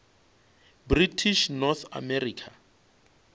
british north america